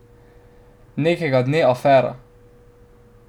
Nekega dne afera.